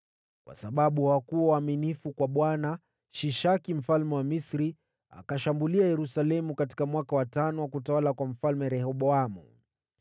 Kwa sababu hawakuwa waaminifu kwa Bwana , Shishaki mfalme wa Misri akashambulia Yerusalemu katika mwaka wa tano wa utawala wa Mfalme Rehoboamu.